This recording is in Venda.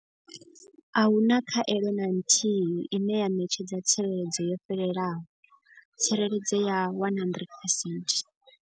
Ahuna khaelo na nthihi ine ya ṋetshedza tsireledzo yo fhelelaho tsireledzo ya 100 percent.